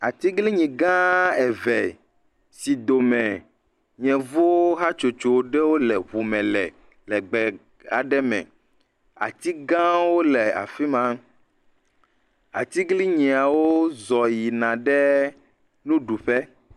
Atiglinyi gã eve si dome yevuwo hatsotso ɖewo le ŋume le le gbe aɖe me. Ati gãwo le afi ma. Atiglinyiawo zɔ yina ɖe nuɖuƒe.